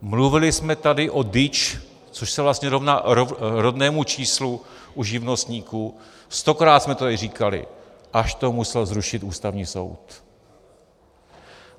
Mluvili jsme tady o DIČ, což se vlastně rovná rodnému číslu u živnostníků, stokrát jsme to tady říkali, až to musel zrušit Ústavní soud.